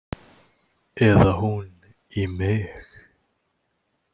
Eða hún í mig.